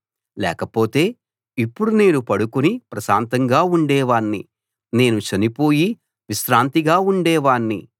లేకపోతే ఇప్పుడు నేను పడుకుని ప్రశాంతంగా ఉండేవాణ్ణి నేను చనిపోయి విశ్రాంతిగా ఉండేవాణ్ణి